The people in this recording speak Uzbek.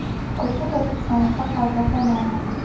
Ko‘chib o‘tish sanasi hozircha noma’lum.